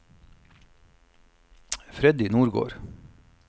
Freddy Nordgård